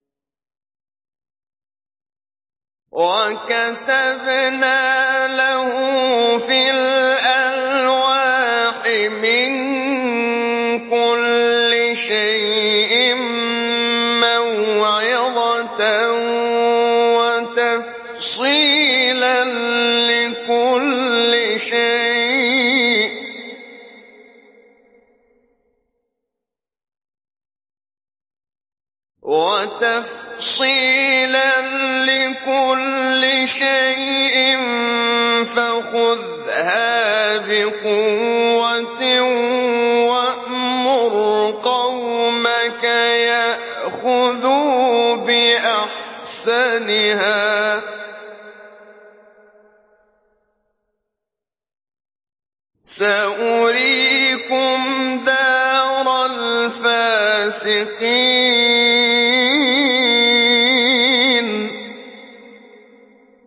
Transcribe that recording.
وَكَتَبْنَا لَهُ فِي الْأَلْوَاحِ مِن كُلِّ شَيْءٍ مَّوْعِظَةً وَتَفْصِيلًا لِّكُلِّ شَيْءٍ فَخُذْهَا بِقُوَّةٍ وَأْمُرْ قَوْمَكَ يَأْخُذُوا بِأَحْسَنِهَا ۚ سَأُرِيكُمْ دَارَ الْفَاسِقِينَ